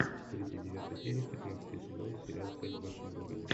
тридцать девятая серия пятнадцатый сезон сериал секс в большом городе